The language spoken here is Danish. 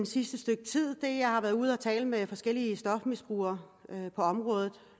sidste stykke tid er at jeg har været ude og tale med forskellige stofmisbrugere